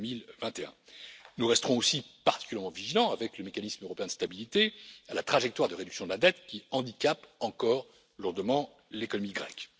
2021. Nous resterons aussi particulièrement vigilants, avec le mécanisme européen de stabilité, à la trajectoire de réduction de la dette qui handicape encore lourdement l'économie grecque.